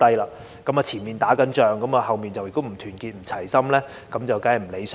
前方正在打仗，但後方不團結、不齊心，這當然不理想。